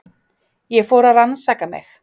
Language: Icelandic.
Ég fór að rannsaka mig.